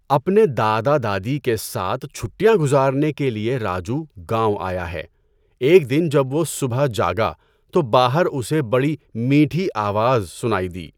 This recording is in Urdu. اپنے دادا دادی کے ساتھ چھٹیاں گزارنے کے لیے راجو گاؤں آیا ہے۔ ایک دن جب وہ صبح جاگا تو باہر اسے بڑی میٹھی آواز سنائی دی۔